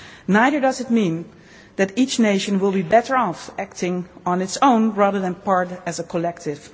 Neither does it mean that each nation will be better off acting on its own, rather than as part of a collective.